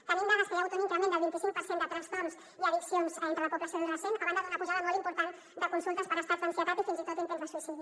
tenim dades que hi ha hagut un increment del vint cinc per cent de trastorns i addiccions entre la població adolescent a banda d’una pujada molt important de consultes per estats d’ansietat i fins i tot intents de suïcidi